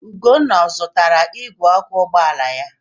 Ugonna ọ zụtara igwe ọkụ ụgbọala ya?